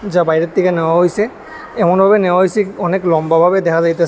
যা বাইরের থেকে নেওয়া হইসে এমনভাবে নেওয়া হয়েসে অনেক লম্বাভাবে দেখা যাইতা--